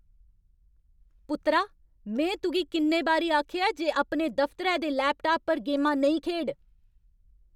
पुत्तरा, में तुगी किन्ने बारी आखेआ ऐ जे अपने दफतरै दे लैपटाप पर गेमां नेईं खेढ?